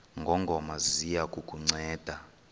ngongoma ziya kukunceda